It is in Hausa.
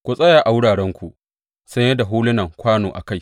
Ku tsaya a wurarenku saye da hulunan kwano a kai!